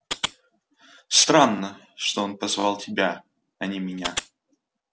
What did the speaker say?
странно что он позвал тебя а не меня